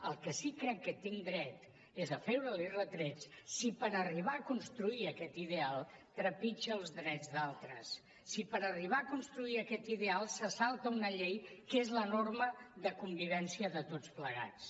al que sí que crec que tinc dret és a fer li retrets si per arribar a construir aquest ideal trepitja els drets d’altres si per arribar a construir aquest ideal se salta una llei que és la norma de convivència de tots plegats